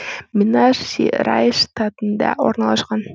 минас жерайс штатында орналасқан